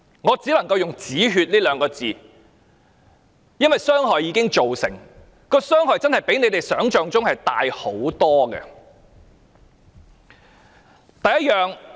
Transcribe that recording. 我只能夠用"止血"這兩個字，因為傷害已經造成，傷害真的比你們想象中大很多。